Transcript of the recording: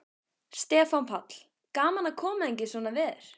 Stefán Páll: Gaman að koma hingað í svona veður?